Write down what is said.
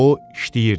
O işləyirdi.